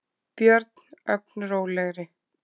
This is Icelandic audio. björn, ögn rólegri.